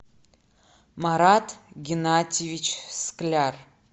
марат геннадьевич скляр